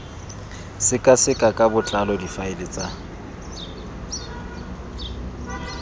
sekaseka ka botlalo difaele tsa